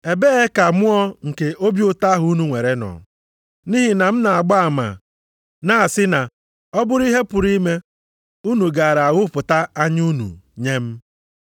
Ebee ka mmụọ nke obi ụtọ ahụ unu nwere nọ? Nʼihi na m na-agba ama, na-asị na ọ bụrụ ihe a pụrụ ime, unu gaara aghụpụta anya unu nye m.